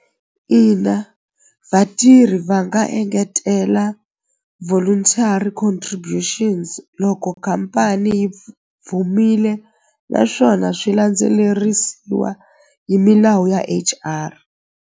Ina vatirhi va nga engetela voluntary contributions loko khampani yi naswona swi landzelerisiwa hi milawu ya H_R.